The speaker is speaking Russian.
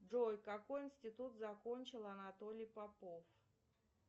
джой какой институт закончил анатолий попов